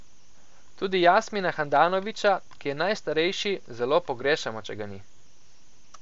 Tudi Jasmina Handanovića, ki je najstarejši, zelo pogrešamo, če ga ni.